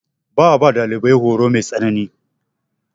Ba a ba ɗalibai horo mai tsanani.